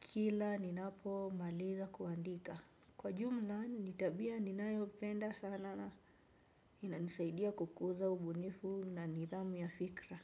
kila ninapomaliza kuandika. Kwa jumla, ni tabia ninayopenda sana. Inanisaidia kukuza ubunifu na nidhamu ya fikra.